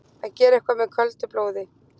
Að gera eitthvað með köldu blóði